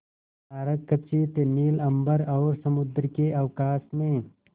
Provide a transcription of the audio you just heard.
तारकखचित नील अंबर और समुद्र के अवकाश में